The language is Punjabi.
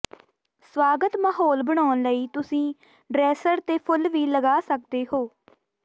ਸਵਾਗਤ ਮਾਹੌਲ ਬਣਾਉਣ ਲਈ ਤੁਸੀਂ ਡ੍ਰੇਸਰ ਤੇ ਫੁੱਲ ਵੀ ਲਗਾ ਸਕਦੇ ਹੋ